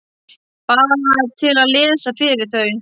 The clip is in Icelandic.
Bara til að lesa fyrir þau.